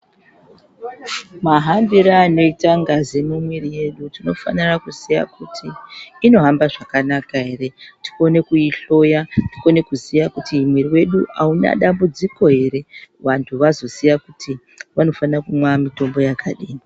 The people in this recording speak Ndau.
Mahambire anoita ngazi munwiri mwedu tinofanire kuziya kuti inohamba zvakanaka ere tione kuihloya tikone kuziya kuti mwiri wedu auna dambudziko ere vantu vazoziya kuti vanofanira kumwa mitombo yakadini.